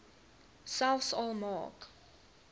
selfs al maak